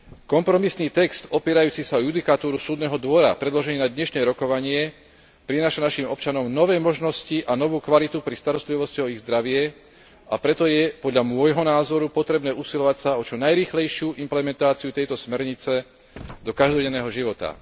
Kompromisný text opierajúci sa o judikatúru Súdneho dvora, predložený na dnešné rokovanie, prináša našim občanom nové možnosti a novú kvalitu pri starostlivosti o ich zdravie, a preto je podľa môjho názoru potrebné usilovať sa o čo najrýchlejšiu implementáciu tejto smernice do každodenného života.